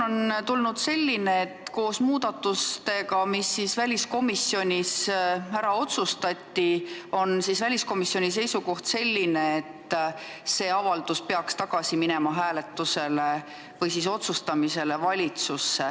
On tulnud selline informatsioon, et koos väliskomisjonis äraotsustatud muudatustega on komisjoni seisukoht selline, et see avaldus peaks minema tagasi valitsusse hääletusele või otsustamisele.